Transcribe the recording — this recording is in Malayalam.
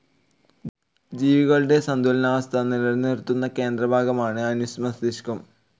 ജീവികളുടെ സന്തുലനാവസ്ഥ നിലനിർത്തുന്ന കേന്ദ്രഭാഗമാണ് അനുമസ്തിഷ്കം.